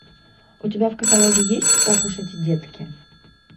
у тебя в каталоге есть ох уж эти детки